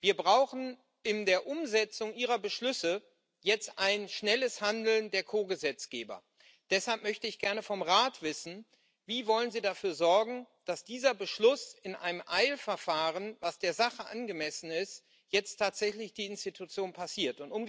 Wir brauchen in der Umsetzung Ihrer Beschlüsse jetzt ein schnelles Handeln der Ko Gesetzgeber. Deshalb möchte ich gerne vom Rat wissen Wie wollen Sie dafür sorgen, dass dieser Beschluss in einem Eilverfahren, was der Sache angemessen ist, jetzt tatsächlich die Institution passiert?